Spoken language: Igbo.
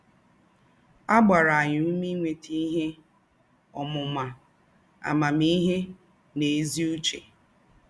À gbàrà ànyị́ ůmè ínwétà íhè ǒmụ́má, àmámị́hè nà ézí̄ ứchè.